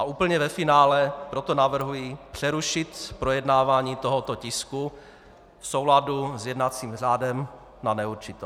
A úplně ve finále proto navrhuji přerušit projednávání tohoto tisku v souladu s jednacím řádem na neurčito.